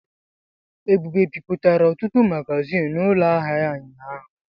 Ebube bipụtara ọtụtụ magazịn n'ụlọ ahịa ya ụnyaahụ.